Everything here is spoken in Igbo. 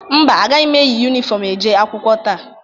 Mba, agaghị eyi yunifọmụ eje akwụkwọ taa.